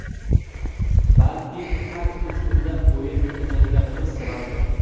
Balki har uch kunda o‘yin o‘tkazayotganimiz sababdir.